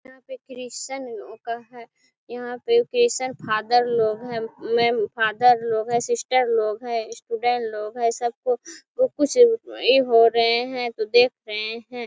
यहाँ पे क्रिश्त्न लोगो का है यहाँ पे ओकेशंन फादर लोग है फादर लोग है सिस्टर लोग है स्टूडेंट लोग है सबको ओ कुछ ऐ हो रहे है तो देख रहे हैं।